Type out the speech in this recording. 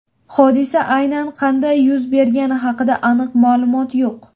Hodisa aynan qanday yuz bergani haqida aniq ma’lumot yo‘q.